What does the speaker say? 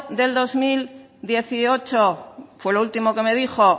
del dos mil dieciocho fue lo último que me dijo